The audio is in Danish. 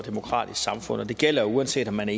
og demokratisk samfund og det gælder jo uanset om man